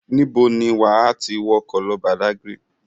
Níbo ni wà á ti wọkọ̀ lọ Badagry?